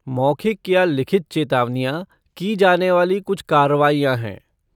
मौखिक या लिखित चेतावनियाँ की जाने वाली कुछ कार्रवाइयाँ हैं।